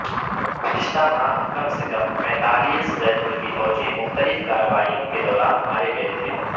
گزشتہ ماہ کم سے کم پینتالیس غیرملکی فوجی مختلف کارروائیوں کے دوران مارے گئے تھے